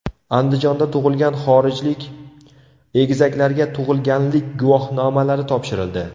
Andijonda tug‘ilgan xorijlik egizaklarga tug‘ilganlik guvohnomalari topshirildi.